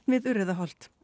við Urriðaholt